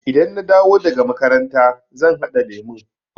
Idan na dawo daga makaranta zan haɗa lemun.